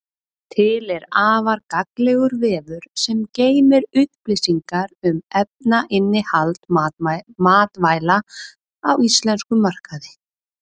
Til er afar gagnlegur vefur sem geymir upplýsingar um efnainnihald matvæla á íslenskum markaði.